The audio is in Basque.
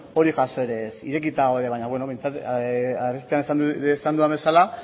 hori jaso ere ez irekita gaude baina arestian esan dudan bezala